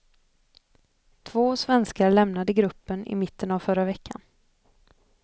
Två svenskar lämnade gruppen i mitten av förra veckan.